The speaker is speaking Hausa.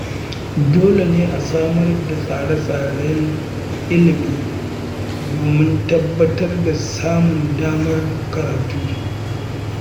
Dole ne a samar da tsare-tsaren ilimi domin tabbatar da samun damar karatu.